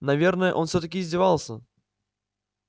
наверное он всё-таки издевался